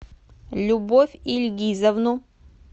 любовь ильгизовну